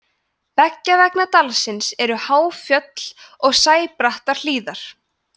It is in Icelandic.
beggja vegna dalsins eru há fjöll og sæbrattar hlíðar